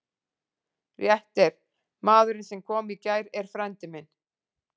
Rétt er: maðurinn sem kom í gær er frændi minn